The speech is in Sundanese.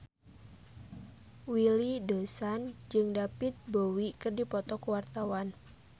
Willy Dozan jeung David Bowie keur dipoto ku wartawan